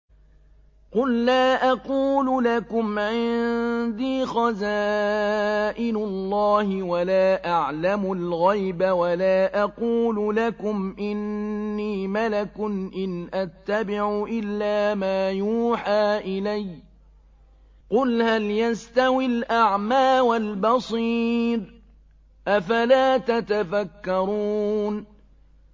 قُل لَّا أَقُولُ لَكُمْ عِندِي خَزَائِنُ اللَّهِ وَلَا أَعْلَمُ الْغَيْبَ وَلَا أَقُولُ لَكُمْ إِنِّي مَلَكٌ ۖ إِنْ أَتَّبِعُ إِلَّا مَا يُوحَىٰ إِلَيَّ ۚ قُلْ هَلْ يَسْتَوِي الْأَعْمَىٰ وَالْبَصِيرُ ۚ أَفَلَا تَتَفَكَّرُونَ